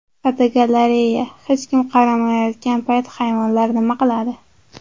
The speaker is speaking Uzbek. Fotogalereya: Hech kim qaramayotgan payt hayvonlar nima qiladi?.